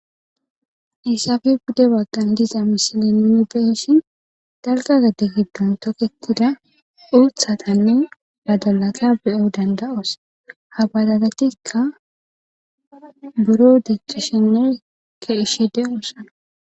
isafe bude waggan diza mishilenne beeshin dalqazade giddun toketida uuthatanne dadolata beyo dandaoos habadadatikka buro deceshenekka ishede oosana